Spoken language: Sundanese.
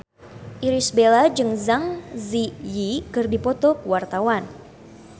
Irish Bella jeung Zang Zi Yi keur dipoto ku wartawan